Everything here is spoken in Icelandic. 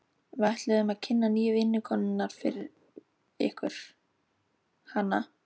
Við ætluðum að kynna nýju vinnukonuna fyrir ykkur, hana